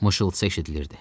Mışıltı eşidilirdi.